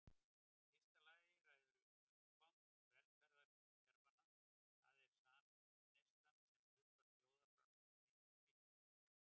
Í fyrsta lagi ræður umfang velferðarkerfanna, það er samneyslan sem hlutfall þjóðarframleiðslu miklu.